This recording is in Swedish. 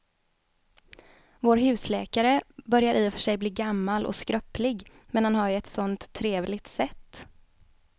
Vår husläkare börjar i och för sig bli gammal och skröplig, men han har ju ett sådant trevligt sätt!